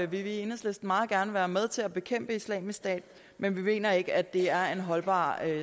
vi i enhedslisten meget gerne være med til at bekæmpe islamisk stat men vi mener ikke at det er en holdbar